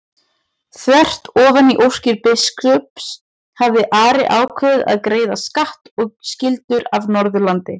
Þvert ofan í óskir biskups hafði Ari ákveðið að greiða skatt og skyldur af Norðurlandi.